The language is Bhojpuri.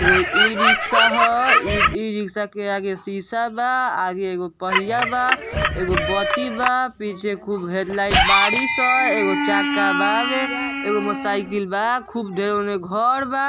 दो ई-रिक्शा ह ई- रिक्शा के आगे शीशा बा आगे एगो पहिया बा एगो बत्ती बा पीछे खूब हेडलाइट बाड़ी सा एगो चक्का बावे एगो मोटर-साइकिल बा खूब ढेर के घर बा --